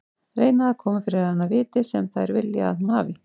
Reyna að koma fyrir hana því viti sem þær vilja að hún hafi.